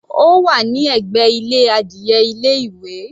Ó wà ní ẹ̀gbẹ́ ilé adìe ilé ìwé.